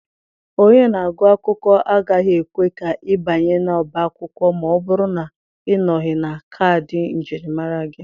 Onye na-agụ akwụkwọ agaghị ekwe ka ị banye n'ọbá akwụkwọ ma ọ bụrụ na ịnọghị na kaadị njirimara gị.